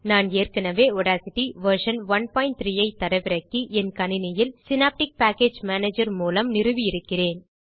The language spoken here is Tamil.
நான் ஏற்கனவே ஆடாசிட்டி வெர்ஷன் 13 ஐ தரவிறக்கி என் கணினியில் சினாப்டிக் பேக்கேஜ் மேனேஜர் மூலம் நிறுவி இருக்கிறேன்